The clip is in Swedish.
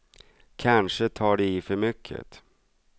Kanske tar de i för mycket.